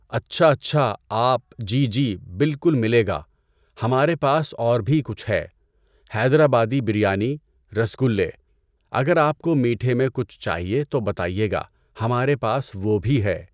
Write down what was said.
اچھا اچھا! آپ، جی جی، بالکل ملے گا۔ ہمارے پاس اور بھی کچھ ہے۔ حیدر آبادی بریانی، رَس گُلے۔ اگر آپ کو میٹھے میں کچھ چاہیے تو بتائیے گا ہمارے پاس وہ بھی ہے۔